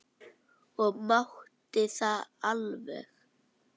Og mátti það alveg.